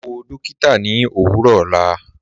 Wà wọ̀ dọ̀kìtà ní òwurọ̀ ọlá